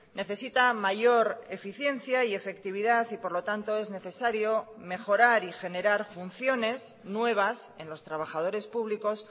necesita mayor eficiencia y efectividad y por lo tanto es necesario mejorar y generar funciones nuevas en los trabajadores públicos